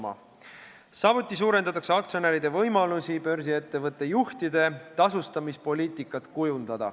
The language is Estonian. Samuti on eesmärk suurendada aktsionäride võimalusi kujundada börsiettevõtte juhtide tasustamise poliitikat.